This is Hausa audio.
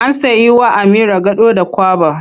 An sai wa Amira gado da kwaba.